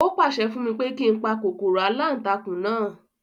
Ó pàṣẹ fún mi pé kí n pa kòkòrò aláǹtakùn náà